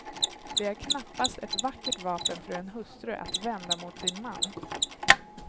Det är knappast ett vackert vapen för en hustru att vända mot sin man.